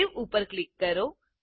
save ઉપર click કરો